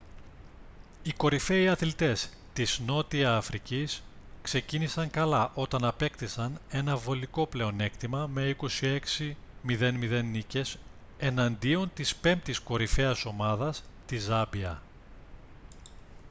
οι κορυφαίοι αθλητές της νότια αφρικής ξεκίνησαν καλά όταν απέκτησαν ένα βολικό πλεονέκτημα με 26 - 00 νίκες εναντίον της πέμπτης κορυφαίας ομάδας της ζάμπια